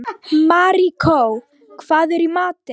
Maríkó, hvað er í matinn?